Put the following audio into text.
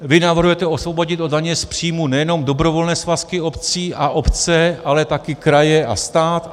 Vy navrhujete osvobodit od daně z příjmu nejenom dobrovolné svazky obcí a obce, ale taky kraje a stát.